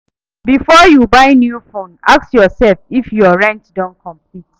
Before you buy new phone, ask yourself if your rent don complete.